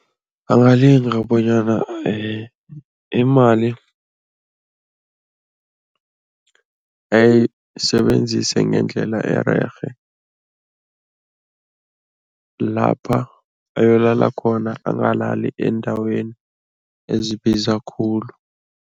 Angalinga bonyana imali ayisebenzise ngendlela ererhe, lapha ayolakala khona angalali eendaweni ezibiza khulu.